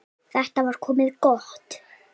Þetta var komið gott.